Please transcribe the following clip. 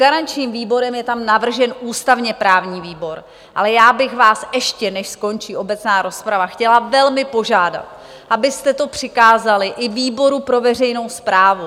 Garančním výborem je tam navržen ústavně-právní výbor, ale já bych vás ještě, než skončí obecná rozprava, chtěla velmi požádat, abyste to přikázali i výboru pro veřejnou správu.